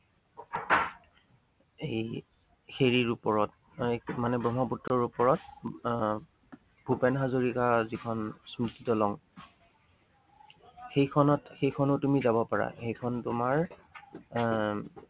সেই হেৰি, হেৰিৰ ওপৰত মানে ব্ৰহ্মপুত্ৰৰ ওপৰত। মানে আহ ভূপেন হাজৰিকা যিখন স্মৃতি দলং। সেইখনত, সেইখনত তুমি যাব পাৰা। সেইখন তোমাৰ আহ